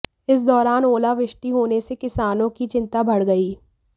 इस दौरान ओलावृष्टि होने से किसानों की चिंता बढ़ गई